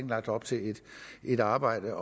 lagt op til et arbejde